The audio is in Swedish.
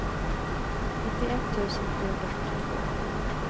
nittioett tusen trehundrafyrtiotvå